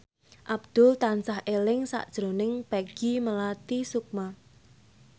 Abdul tansah eling sakjroning Peggy Melati Sukma